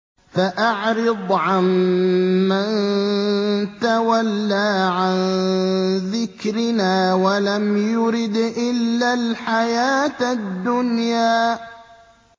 فَأَعْرِضْ عَن مَّن تَوَلَّىٰ عَن ذِكْرِنَا وَلَمْ يُرِدْ إِلَّا الْحَيَاةَ الدُّنْيَا